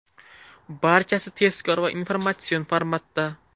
Barchasi tezkor va informatsion formatda.